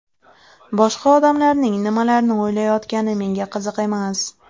Boshqa odamlarning nimalarni o‘ylayotgani menga qiziq emas.